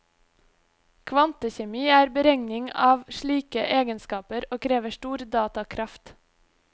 Kvantekjemi er beregning av slike egenskaper, og krever stor datakraft.